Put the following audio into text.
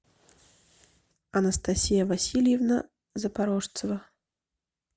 анастасия васильевна запорожцева